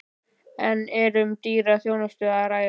En er um dýra þjónustu að ræða?